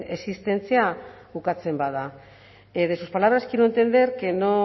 existentzia bukatzen bada de sus palabras quiero entender que no